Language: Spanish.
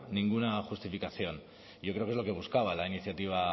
ninguna justificación y yo creo que es lo que buscaba la iniciativa